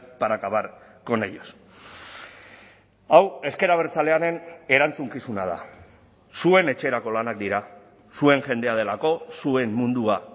para acabar con ellos hau ezker abertzalearen erantzukizuna da zuen etxerako lanak dira zuen jendea delako zuen mundua